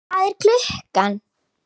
Hvað er klukkan?